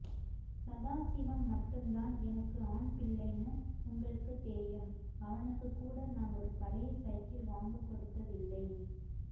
சதாசிவம் மட்டும்தான் எனக்கு ஆண் பிள்ளைன்னு உங்களுக்கு தெரியும் அவனுக்குகூட நான் ஒரு பழைய சைக்கிள் வாங்கி கொடுத்ததில்லை